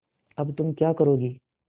अब तुम क्या करोगी